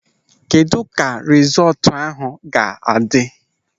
Kedụ ka rizọọtụ ahụ ga-adị?